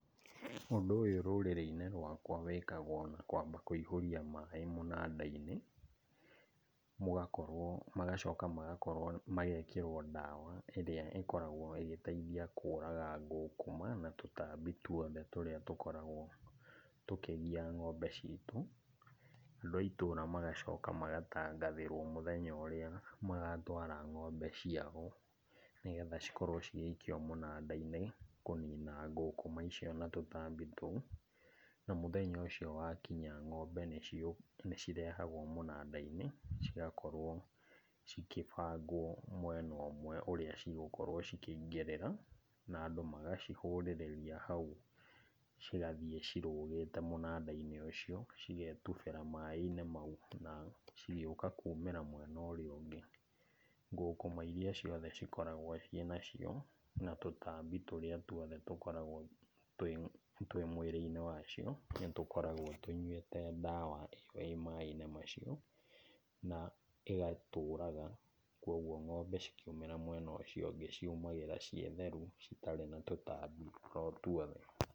Ũndũ ũyũ rũrĩrĩ-inĩ rwakwa wĩkagwo na kwamba kũihũria maĩ mũnanda-inĩ, mũgakorwo, magacoka magakorwo, magekĩrwo ndawa ĩrĩa ĩkoragwo ĩgĩteithia kũraga ngũkũma na tũtambi tuothe tũrĩa tũkoragwo tũkĩgia ng'ombe citũ. Andũ a itũra magacoka magatangathĩrwo mũthenya ũrĩa magatwara ng'ombe ciao nĩgetha cikorwo cigĩikio mũnanda-inĩ kũnina ngũkũma icio na tũtambi tũu. Na mũthenya ũcio wakinya ng'ombe nĩciũ, nĩchirehagwo mũnanda-inĩ cigakorwo cikĩbangwo mwena ũmwe ũrĩa cigũkorwo chĩkĩingĩrĩra, na andũ magacihũrĩrĩria hau chigathiĩ chirũgĩte mũnanda-inĩ ũcio. Cigetubĩra maĩ-inĩ mau, na cigĩũka kumĩra mwena ũrĩa ũngĩ. Ngũkũma iria ciothe cikoragwo ciĩ na cio, na tũtambi tũrĩa twothe tũkoragwo twĩ mwĩrĩ-inĩ wacio nĩtũkoragwo tũnyuĩte dawa ĩyo ĩ maĩ-inĩ macio na ĩgatũraga. Koguo ng'ombe cikiumĩra mwena ũcio ũngĩ ciumagĩra ciĩ theru, citarĩ na tũtambi o tuothe.